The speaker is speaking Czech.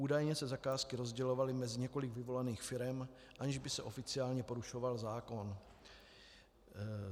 Údajně se zakázky rozdělovaly mezi několik vyvolených firem, aniž by se oficiálně porušoval zákon.